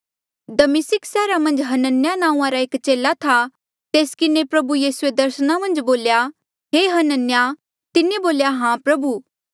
दमिस्का सैहरा मन्झ हनन्याह नांऊँआं रा एक चेला था तेस किन्हें प्रभु यीसूए दर्सना मन्झ बोल्या हे हनन्याह तिन्हें बोल्या हां प्रभु